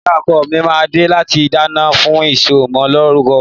Ìyá ọkọ̀ mi mà dẹ làtí kànàdà fún ìsọ mọ lòrúkọ